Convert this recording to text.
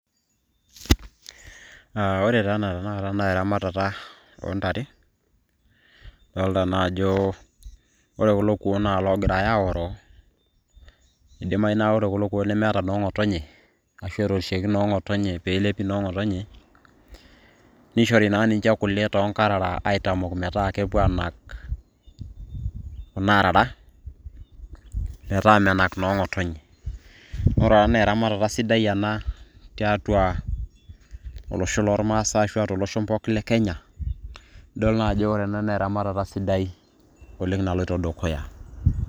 Ah ore taa ena tanakata naa eramatata ontare, adolta na ajo ore kulo kuon na logirai aoroo, idimayu na ore kulo kuon na meeta noong'otonye, ashu etorishieki noong'otonye pelepi noong'otonye. Nishori naa ninche kule tonkarara aitamok metaa kepuo anak, kuna arara, metaa menak noong'otonye. Ore ena na eramatata sidai ena, tiatua olosho lormasai ashu a tolosho pookin le Kenya. Idol naa ajo ore ena na eramatata sidai oleng' naloito dukuya.